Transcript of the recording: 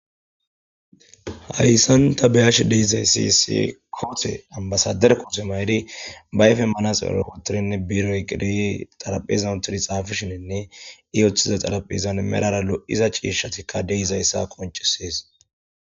hayssan ta be7ashe de7izayssi issi koote ambasader kotte maydi bayfen manasere wotirinne biire oyqidi xaraphezan uttidi xaafishininne i oththiza xaraphizan merara lo7iza ciishshatikka de7izayssa koncisees